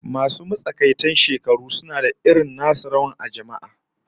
Masu matsakaitan shekaru suna da irin nasu rawar a jama'a